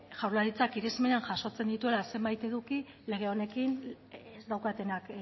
jaurlaritzak irizmena jasotzen dituela zenbait eduki lege honekin ez daukatenak